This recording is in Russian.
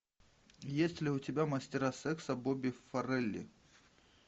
есть ли у тебя мастера секса бобби фаррелли